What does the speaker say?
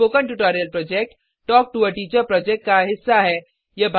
spoken tutorial project talk to a teacher project का हिस्सा है